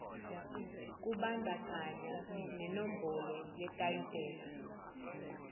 kubandakanya nenombolo yetayitela